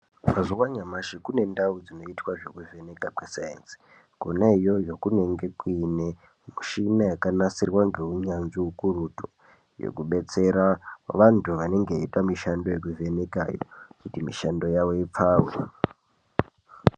Mazuwa anyamashi kunendau dzinoitwa zvekuvheneka kwesainzi kona iyoyo kunenge kuine mishina yakanasirwa ngeunyanzvi ukurutu yekudetsera vantu vanenge veivheneka kuti mushando yavo ipfave.